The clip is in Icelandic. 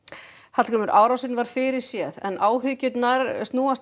Hallgrímur árásin var fyrirséð en áhyggjurnar snúast